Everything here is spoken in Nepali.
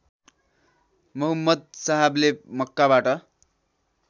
मुहम्म्द साहबले मक्काबाट